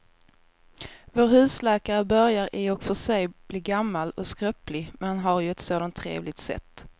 Vår husläkare börjar i och för sig bli gammal och skröplig, men han har ju ett sådant trevligt sätt!